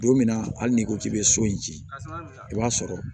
Don min na hali n'i ko k'i bɛ so in ci i b'a sɔrɔ